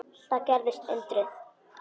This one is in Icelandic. Þá gerðist undrið.